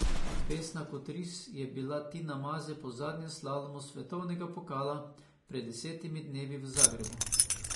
Besna kot ris je bila Tina Maze po zadnjem slalomu svetovnega pokala pred desetimi dnevi v Zagrebu.